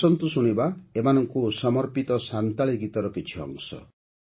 ଆସନ୍ତୁ ଶୁଣିବା ଏମାନଙ୍କୁ ସମର୍ପିତ ସାନ୍ତାଳୀ ଗୀତର କିଛି ଅଂଶ